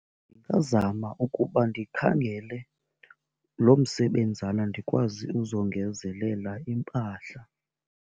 Ndingazama ukuba ndikhangele lo msebenzana ndikwazi uzongezelela iimpahla.